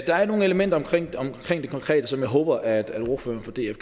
der er nogle elementer omkring omkring det konkrete som jeg håber at ordføreren for df